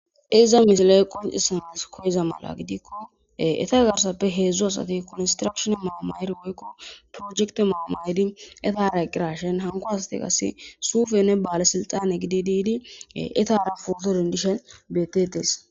Iza misilee qoncisanis koiza mala gidikko eta garsappe heedzdzo asati koostrashona maamayer woykko projekte maamayedi etara eqqirashen hanko asati qase suufe ne baale silxane gidi diidi etara folorin dishe betetes.